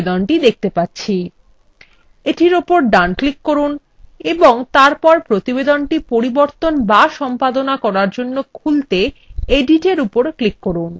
এটির ওপর ডান ক্লিক করুন এবং তারপর প্রতিবেদনটি পরিবর্তন বা সম্পাদনা করার জন্য খুলতে editএর উপর ক্লিক করুন